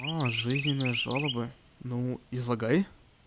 жизненное жалобы ну излагай